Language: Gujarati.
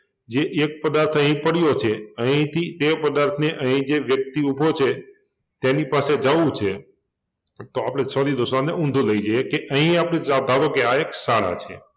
જે એક પદાર્થ અહિ પડ્યો છે અહિથી તે પદાર્થને અહિ જે વ્યક્તિ ઊભો છે તેની પાસે જવુ છે તો આપડે sorry દોસ્તો આને ઊંધો લઈ જઈએ કે અહિંયાથી ધારો કે આ એક શાળા છે